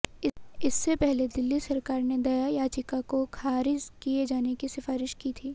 इससे पहले दिल्ली सरकार ने दया याचिका को खारिज किए जाने की सिफारिश की थी